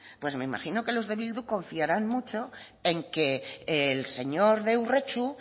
pues me imagino que los de bildu confiarán mucho en que el señor de urretxu